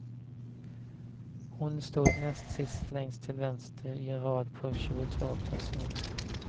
Hon stod näst sist längst till vänster i en rad på tjugutvå personer.